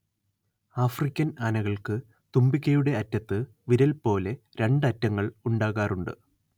African ആനകൾക്ക് തുമ്പിക്കൈയുടെ അറ്റത്ത് വിരൽ പോലെ രണ്ട് അറ്റങ്ങൾ ഉണ്ടാകാറുണ്ട്